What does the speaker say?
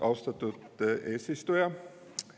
Austatud eesistuja!